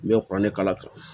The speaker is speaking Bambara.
N bɛ kuranɛ kala kan